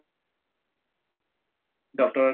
doctor ৰৰ